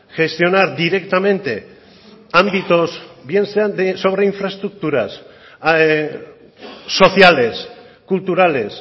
gestionar directamente ámbitos bien sean de sobre infraestructuras sociales culturales